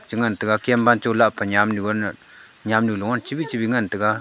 i taiga Kem wancho lahpa nyamnu loun nyamnu loun chibi chibi ngan taga.